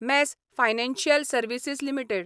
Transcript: mass financial services limited